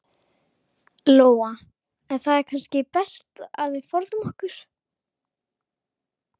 Lóa: En það er kannski best að við forðum okkur?